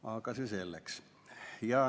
Aga see selleks.